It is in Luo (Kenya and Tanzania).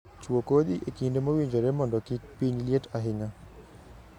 Chuo kodhi e kinde mowinjore mondo kik piny liet ahinya